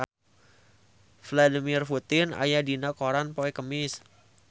Vladimir Putin aya dina koran poe Kemis